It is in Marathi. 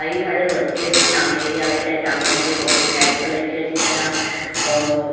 काही झाडवरती अशी टांगलेली आहे ते टांगले ब्लॅक कलर चे अशे त्याना ओ --